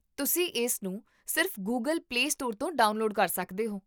ਤੁਸੀਂ ਇਸਨੂੰ ਸਿਰਫ਼ ਗੂਗਲ ਪਲੇ ਸਟੋਰ ਤੋਂ ਡਾਊਨਲੋਡ ਕਰ ਸਕਦੇ ਹੋ